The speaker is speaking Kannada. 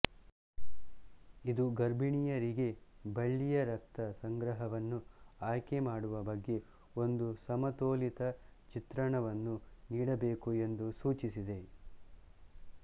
ಇದು ಗರ್ಭಿಣಿಯರಿಗೆ ಬಳ್ಳಿಯರಕ್ತ ಸಂಗ್ರಹವನ್ನು ಆಯ್ಕೆ ಮಾಡುವ ಬಗ್ಗೆ ಒಂದು ಸಮತೋಲಿತ ಚಿತ್ರಣವನ್ನು ನೀಡಬೇಕು ಎಂದು ಸೂಚಿಸಿದೆ